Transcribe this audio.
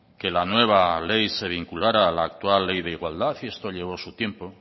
que la nueva ley se vinculara a la actual ley de igualdad y esto llevó su tiempo